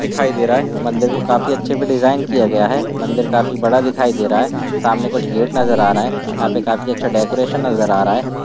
दिखाई दे रहा है मंदिर को काफी अच्छे से डिज़ाईन किया गया है मंदिर काफी बड़ा दिखाई दे रहा है सामने कुछ गेट नज़र आ रहे हैं यहाँ पे काफी अच्छा डेकोरैशन नज़र आ रहा है।